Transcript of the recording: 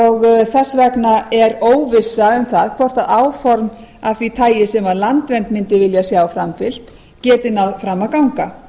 og þess vegna er óvissa um það hvort áform af því tagi sem landvernd mundi vilja sjá framfylgt geti náð fram að ganga